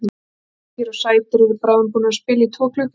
Bleikir og sætir eru bráðum búnir að spila í tvo klukkutíma.